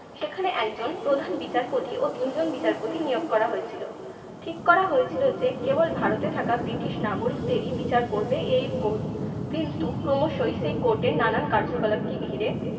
সেখানে একজন প্রধান বিচারপতি ও তিনজন বিচারপতি নিয়োগ করা হয়েছিলো। ঠিক করা হয়েছিল যে কেবল ভারতে থাকা ব্রিটিশ নাগরিকদেরই বিচার করবে এই court কিন্তু ক্রমশই সেই court এর নানান কার্যকলাপকে ঘিরে